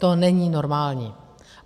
To není normální.